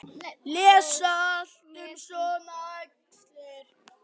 Lesa allt um svona æxli?